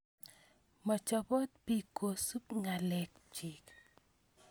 Machopot piik kosup ng'alek chiik